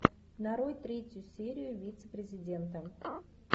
нарой третью серию вице президента